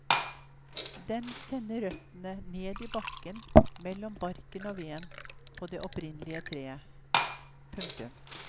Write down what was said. Den sender røttene ned i bakken mellom barken og veden på det opprinnelige treet. punktum